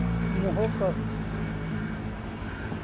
move कर